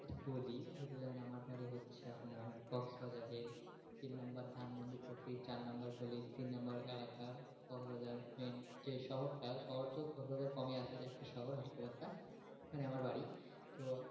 বলি আপনি তো জানেন আমার বাড়ি হচ্ছে আপনার crocks বাজারের তিন number দিয়ে চার number গলি তিন number এলাকার main যেই শহরটা, শহরতো কোলকাতায় কমই আছে একটা শহর ওখানে আমার বাড়ি তো,